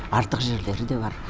артық жерлері де бар